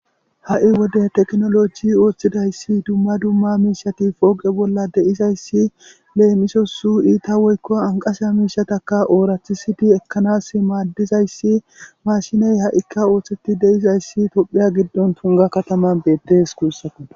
ha7i wode tekinoloji ooththidayssi dumma dumma miishati pooqe bolla deizayssi leemisosu iita woykko anqasya miishataka oorathisidi ekkanas maaddizayssi mashiney ha7ikka ooththeti deizayssi tophiya giddon tunga kataman beettees guussaku